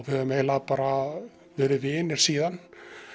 höfum eiginlega bara verið vinir síðan